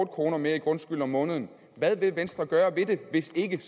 kroner mere i grundskyld om måneden hvad vil venstre gøre ved det hvis ikke